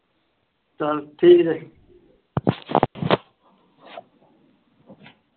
ਚੱਲ ਠੀਕ ਆ ਜੀ।